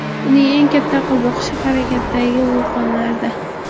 Uning eng katta qiziqishi harakatdagi vulqonlarda.